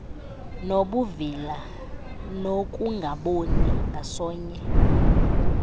nobuvila nokungaboni ngasonye